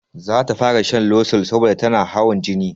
Zata fara shan losol saboda tanada hawan jini